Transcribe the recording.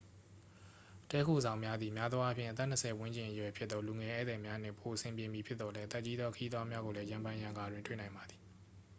တည်းခိုဆောင်များသည် များသောအားဖြင့် အသက်နှစ်ဆယ်ဝန်းကျင်အရွယ်ဖြစ်သော လူငယ်ဧည့်သည်များနှင့်ပိုအဆင်ပြေမည်ဖြစ်သော်လည်း အသက်ကြီးသော ခရီးသွားများကိုလည်း ရံဖန်ရံခါတွင် တွေ့နိုင်ပါသည်